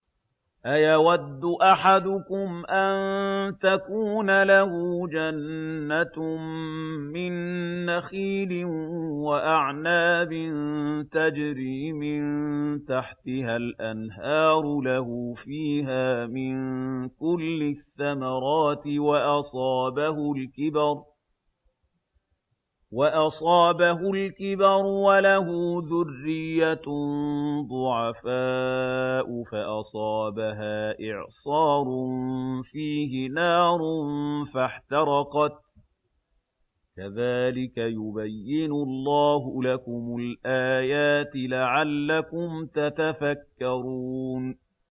أَيَوَدُّ أَحَدُكُمْ أَن تَكُونَ لَهُ جَنَّةٌ مِّن نَّخِيلٍ وَأَعْنَابٍ تَجْرِي مِن تَحْتِهَا الْأَنْهَارُ لَهُ فِيهَا مِن كُلِّ الثَّمَرَاتِ وَأَصَابَهُ الْكِبَرُ وَلَهُ ذُرِّيَّةٌ ضُعَفَاءُ فَأَصَابَهَا إِعْصَارٌ فِيهِ نَارٌ فَاحْتَرَقَتْ ۗ كَذَٰلِكَ يُبَيِّنُ اللَّهُ لَكُمُ الْآيَاتِ لَعَلَّكُمْ تَتَفَكَّرُونَ